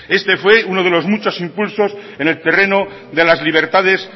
este fue uno de los muchos impuestos en el terreno de las libertades